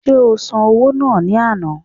Ṣé o san owó náà ní àná?